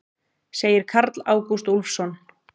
Segir Karl Ágúst Úlfsson.